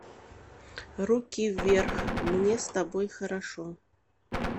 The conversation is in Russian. руки вверх мне с тобой хорошо